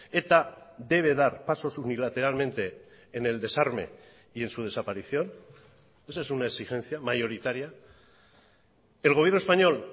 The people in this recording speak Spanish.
eta debe dar pasos unilateralmente en el desarme y en su desaparición esa es una exigencia mayoritaria el gobierno español